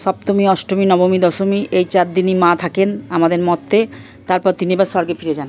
সপ্তমী অষ্টমী নবমী দশমী এই চারদিনই মা থাকেন আমাদের মর্তে। তারপর তিনি আবার স্বর্গে ফিরে যান।